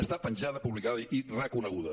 està penjada publicada i reconeguda